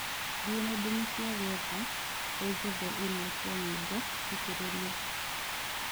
thie nendaini cĩa gũetha unjethereĩmwe cĩa nyĩmbo thikĩrirĩe